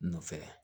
Nɔfɛ